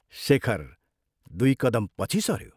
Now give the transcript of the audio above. शेखर दुइ कदम पछि सऱ्यो।